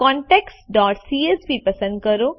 contactsસીએસવી પસંદ કરો